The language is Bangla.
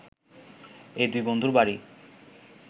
এ দুই বন্ধুর বাড়ি